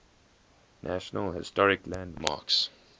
national historic landmarks